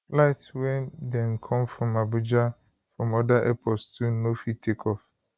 flights wey dem come abuja from oda airports too no fit take off